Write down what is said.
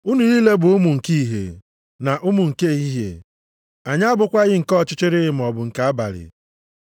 Unu niile bụ ụmụ nke ìhè na ụmụ nke ehihie, anyị abụkwaghị nke ọchịchịrị maọbụ nke abalị.